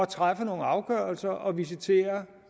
træffe nogle afgørelser og visitere